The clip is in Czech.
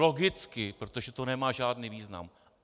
Logicky, protože to nemá žádný význam.